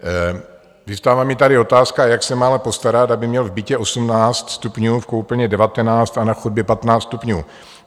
Vyvstává mi tady otázka, jak se máme postarat, aby měl v bytě 18 stupňů, v koupelně 19 a na chodbě 15 stupňů.